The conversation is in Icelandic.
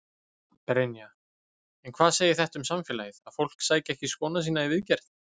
Brynja: En hvað segir þetta um samfélagið, að fólk sæki ekki skóna sína í viðgerð?